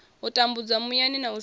tambudzwa muyani na u seṅwa